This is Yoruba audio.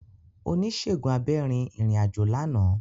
Onisegun abẹ rin irin-ajo làná.